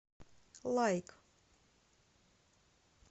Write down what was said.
лайк